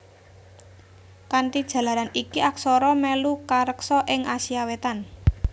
Kanthi jalaran iki aksara mèlu kareksa ing Asia Wétan